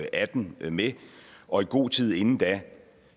og atten med og i god tid inden da